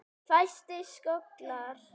Fæstir skollar